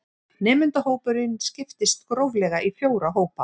Nemendahópurinn skiptist gróflega í fjóra hópa